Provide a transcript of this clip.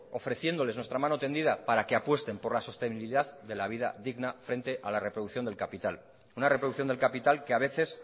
ofreciéndoles nuestra mano tendida para que apuesten por la sostenibilidad de la vida digna frente a la reproducción del capital una reproducción del capital que a veces